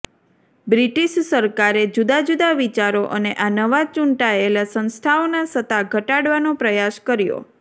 British સરકારે જુદા જુદા વિચારો અને આ નવા ચૂંટાયેલા સંસ્થાઓના સત્તા ઘટાડવાનો પ્રયાસ કર્યો